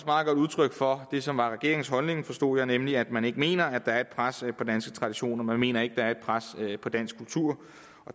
meget godt udtryk for det som er regeringens holdning forstod jeg nemlig at man ikke mener at der er pres på danske traditioner man mener ikke at der er pres på dansk kultur